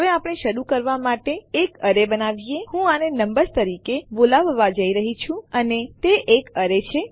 હવે આપણે શરૂ કરવા માટે એક એરે બનાવીએ હું આને નંબર્સ તરીકે બોલાવવા જઈ રહી છું અને તે એક એરે છે